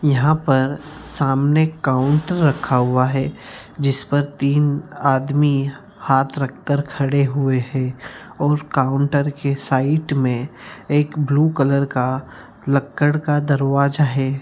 यहाँ पर सामने काउंटर रखा हुआ है जिस पर तीन आदमी हाथ रख के खड़े हुए है और काउंटर के साइड में एक ब्लू कलर का लक्कड़ का दरवाजा है।